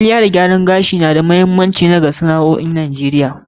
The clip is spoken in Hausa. Kwalliya da gyaran gashi yana ɗaya daga cikin manyan sana'o'i a kasar NIGERIA.